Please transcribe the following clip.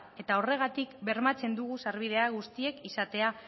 eta horregatik bermatzen dugu sarbide guztiek izatea